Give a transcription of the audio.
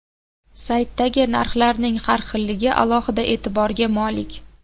Saytdagi narxlarning har xilligi alohida e’tiborga molik.